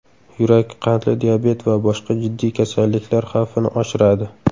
Yurak, qandli diabet va boshqa jiddiy kasalliklar xavfini oshiradi.